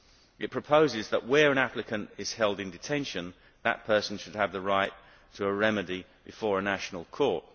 It proposes that where an applicant is held in detention, that person should have the right to a remedy before a national court.